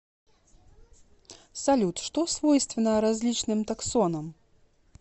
салют что свойственно различным таксонам